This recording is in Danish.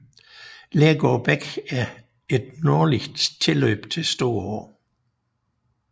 Lægård Bæk er et nordligt tilløb til Storå